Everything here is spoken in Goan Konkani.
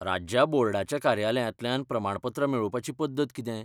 राज्या बोर्डाच्या कार्यालयांतल्यान प्रमाणपत्रां मेळोवपाची पद्दत कितें?